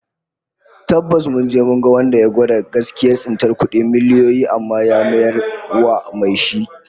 Tabbas, mun je mu ga wanda ya gwada gaskiyar tsintar kudi miliyoyi amma ya mayar wa mai shi